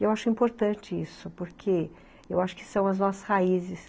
Eu acho importante isso, porque eu acho que são as nossas raízes.